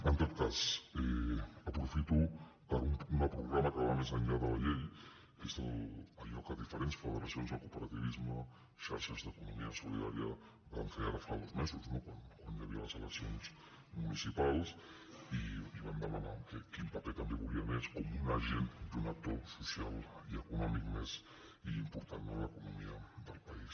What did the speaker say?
en tot cas aprofito per a una proclama que va més enllà de la llei que és allò que diferents federacions del cooperativisme xarxes d’economia solidària van fer ara fa dos mesos no quan hi havia les eleccions municipals i van demanar quin paper també volien ells com un agent i un actor social i econòmic més i important de l’economia del país